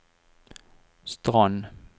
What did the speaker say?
Strand